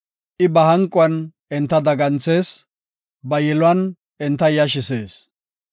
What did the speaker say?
I ba hanquwan enta daganthees; ba yiluwan enta yashisees.